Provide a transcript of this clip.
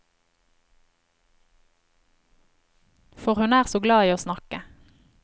For hun er så glad i å snakke.